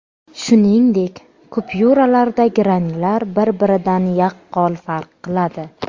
Shuningdek, kupyuralardagi ranglar bir-biridan yaqqol farq qiladi.